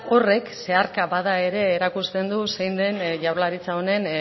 horrek zeharka bada ere erakusten du zein den jaurlaritza honen